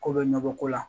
Ko bɛ nɔgɔ ko la